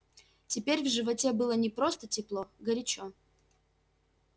теперь в животе было не просто тепло горячо